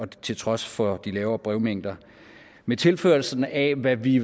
til trods for de mindre brevmængder med tilførslen af hvad vi